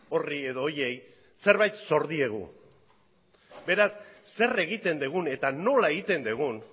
horri edo horiei zerbait zor diegu beraz zer egiten dugun eta nola egiten dugun